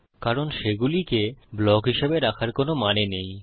কারণ সেগুলিকে ব্লক হিসাবে রাখার কোনো মানে নেই